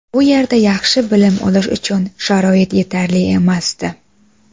Bu yerda yaxshi bilim olish uchun sharoit yetarli emasdi.